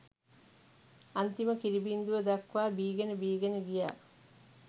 අන්තිම කිරි බිංදුව දක්වා බීගෙන බීගෙන ගියා